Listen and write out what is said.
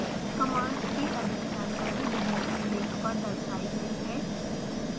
commands की अधिक जानकारी दिए हुए लिंक पर दर्शायी गयी है